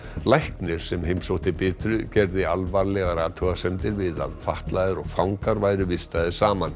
læknir sem heimsótti Bitru gerði alvarlegar athugasemdir við að fatlaðir og fangar væru vistaðir saman